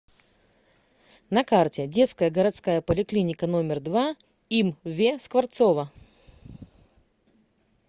на карте детская городская поликлиника номер два им ве скворцова